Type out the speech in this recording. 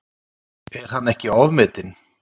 Er hann ekki ofmetinn?